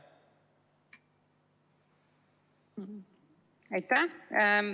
Aitäh!